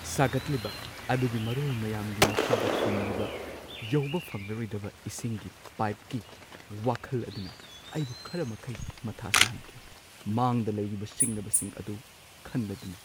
ꯁꯥꯒꯠꯂꯤꯕ ꯑꯗꯨꯒꯤ ꯃꯔꯣꯜ ꯃꯌꯥꯝꯒꯤ ꯃꯈꯥꯗ ꯐꯨꯝꯂꯤꯕ ꯌꯧꯕ ꯐꯪꯂꯔꯣꯢꯗꯕ ꯏꯁꯤꯡꯒꯤ ꯄꯥꯢꯞꯀꯤ ꯋꯥꯈꯜ ꯑꯗꯨꯅ ꯑꯩꯕꯨ ꯈꯔ ꯃꯈꯩ ꯃꯊꯥ ꯁꯥꯍꯟꯈꯤ, ꯃꯥꯡꯗ ꯂꯩꯔꯤꯕ ꯁꯤꯡꯅꯕꯁꯤꯡ ꯑꯗꯨ ꯈꯟꯂꯗꯨꯅ꯫